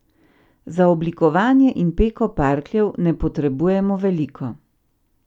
Za oblikovanje in peko parkljev ne potrebujemo veliko.